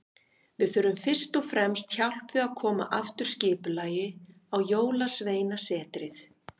Við þurfum fyrst og fremst hjálp við að koma aftur skipulagi á Jólasveinasetrið.